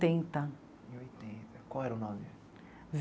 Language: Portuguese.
Em oitenta. Qual era o nome?